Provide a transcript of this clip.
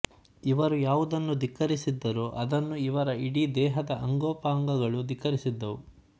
ಇವರು ಯಾವುದನ್ನು ಧಿಕ್ಕರಿಸಿದ್ದರೋ ಅದನ್ನು ಇವರ ಇಡೀ ದೇಹದ ಅಂಗೋಪಾಂಗಗಳು ಧಿಕ್ಕರಿಸಿದ್ದವು